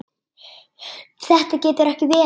Þetta getur ekki verið!